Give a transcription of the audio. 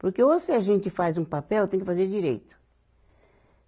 Porque ou se a gente faz um papel, tem que fazer direito.